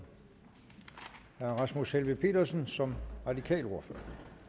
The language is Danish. herre rasmus helveg petersen som radikal ordfører